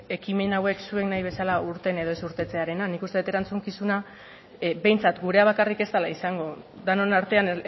ekimen hauek zuek nahi bezala irten edo ez irtetzearena nik uste dut erantzukizuna behintzat gurea bakarrik ez dela izango denon artean